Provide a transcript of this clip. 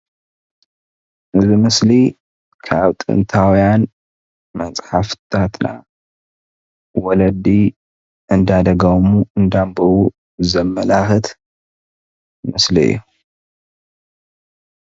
እዚ ኣብ ምስሊ ካብ ጥንታዊያን መፅሓፍቲታትና ወለዲ እንዳደገሙ እንዳኣንበቡ ዘመላክት ምስሊ እዩ፡፡